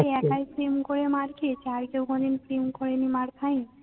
সে একাই প্রেম করে মার খেয়েছে? আর কেউ কোনো দিন প্রেম করেনি, মার খায়নি? পারতুম